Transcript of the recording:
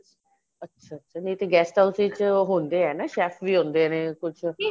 ਅੱਛਾ ਨੀਂ ਤੇ guest house ਵਿੱਚ ਉਹ ਹੁੰਦੇ ਏ ਨਾ chef ਵੀ ਹੁੰਦੇ ਨੇ ਕੁੱਝ